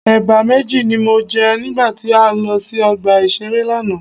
Ẹ̀bà méjì ni mo jẹ nígbà tí a lọ sí ọgbà ìṣeré lánàá.